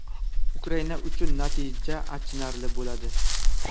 Ukraina uchun natija achinarli bo‘ladi.